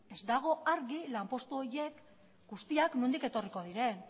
ez dago argi lanpostu horiek guztiak nondik etorriko diren